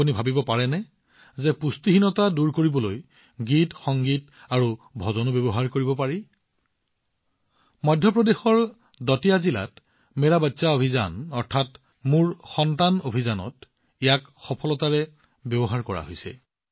আপুনি কল্পনা কৰিব পাৰে পুষ্টিহীনতা আঁতৰাবলৈ গীতসংগীত আৰু ভজনো ব্যৱহাৰ কৰিব পাৰিনে মধ্য প্ৰদেশৰ দাতিয়া জিলাত আৰম্ভ হৈছে মোৰ সন্তান অভিযান এই মোৰ সন্তান অভিযানত ইয়াক সফলতাৰে ব্যৱহাৰ কৰা হৈছিল